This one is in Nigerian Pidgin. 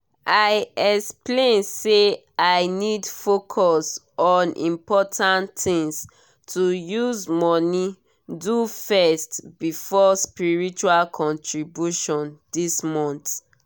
i explain say i need focus on important things to use money do first before spiritual contributions this month.